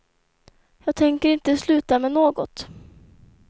Jag tänker inte sluta med något.